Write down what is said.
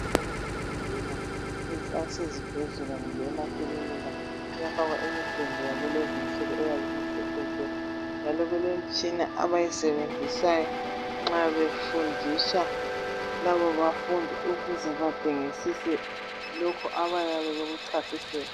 Indawo yokufundela eyasezibhedlela kumbe emakilinika kuyafakwa imigwembe yakulezinsuku eyabe imhlophe nke njalo kulemitshina abayisebenzisayo nxa befundisa labo bafundi ukuze badingisise lokhu abayabe bekuchasiselwa